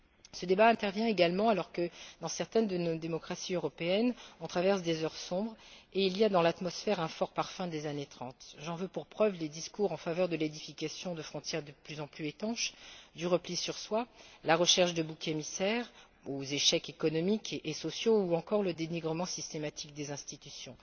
Ce débat intervient également alors que, dans certaines de nos démocraties européennes, on traverse des heures sombres, et il y a dans l'atmosphère un fort parfum des années30. J'en veux pour preuve les discours en faveur de l'édification de frontières de plus en plus étanches, du repli sur soi, la recherche de boucs émissaires aux échecs économiques et sociaux ou encore le dénigrement systématique des institutions.